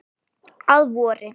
Að vori.